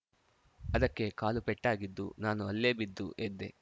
ಅದಕ್ಕೆ ಕಾಲು ಪೆಟ್ಟಾಗಿದ್ದು ನಾನು ಅಲ್ಲೇ ಬಿದ್ದು ಎದ್ದೆ